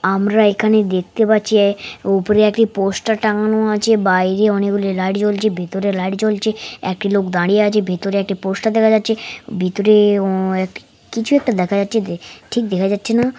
আমরা এখানে দেখতে পাচ্ছে উপরে একটি পোস্টটার টাঙ্গানো আছে বাইরে অনেকগুলি লাইট জ্বলছে ভেতরে লাইট জ্বলছে একটি লোক দাঁড়িয়ে আছে। ভেতরে একটা পোস্টটার দেখা যাচ্ছে ভেতরে উ অ্যা কিছু একটা দেখা যাচ্ছে যে ঠিক দেখা যাচ্ছে না।